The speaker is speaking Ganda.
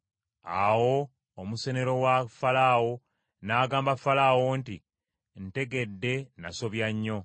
Awo omusenero wa Falaawo n’agamba Falaawo nti, “Ntegedde nasobya nnyo.